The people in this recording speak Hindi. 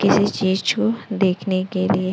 किसी चीज को देखने के लिए--